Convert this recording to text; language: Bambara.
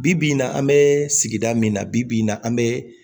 Bi bi in na an bɛ sigida min na bibi in na an bɛ